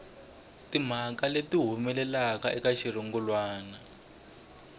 timhaka leti humelelaka eka xirungulwana